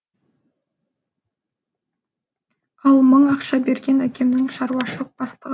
ал мың ақша берген әкемнің шаруашылық бастығы